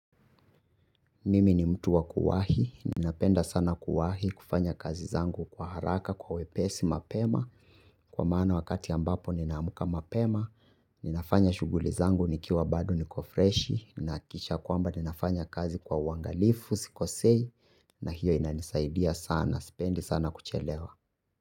Mimi ni mtu wa kuwahi, ninapenda sana kuwahi, kufanya kazi zangu kwa haraka, kwa wepesi, mapema. Kwa maana wakati ambapo nina amka mapema, ninafanya shughuli zangu nikiwa bado niko freshi. Ninhakikisha kwamba ninafanya kazi kwa uangalifu, sikosei, na hio inanisaidia sana, sipendi sana kuchelewa.